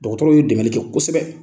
Dɔgɔtɔrɔw ye dɛmɛli kɛ kosɛbɛ.